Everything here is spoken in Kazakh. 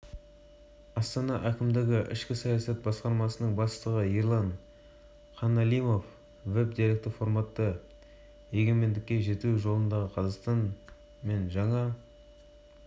бүгін гумилев атындағы еуразия ұлттық университетінде астана тәуелсіздік тұғыры веб-деректі жобасының тұсаукесері өтеді шара барысында болашақ